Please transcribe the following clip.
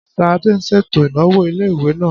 Ṣadé ṣètò ìnáwó ilé-ìwé náà